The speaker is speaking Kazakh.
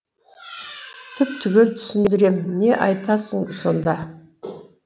түп түгел түсіндірем не айтасың сонда